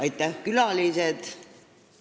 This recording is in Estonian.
Aitäh, külalised!